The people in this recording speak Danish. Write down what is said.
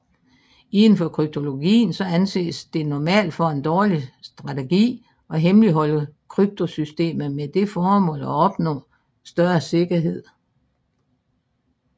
Inden for kryptologien anses det normalt for en dårlig strategi at hemmeligholde kryptosystemet med det formål at opnå større sikkerhed